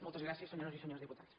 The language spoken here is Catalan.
moltes gràcies senyores i senyors diputats